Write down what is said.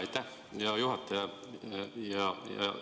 Aitäh, hea juhataja!